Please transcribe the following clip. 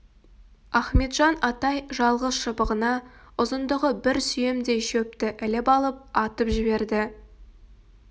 ахметжан атай жалғыз шыбығына ұзындығы бір сүйемдей шөпті іліп алып атып жіберді